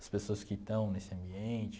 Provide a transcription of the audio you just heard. as pessoas que estão nesse ambiente.